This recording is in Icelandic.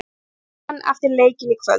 Við hittum hann eftir leikinn í kvöld.